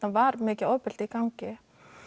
var mikið ofbeldi í gangi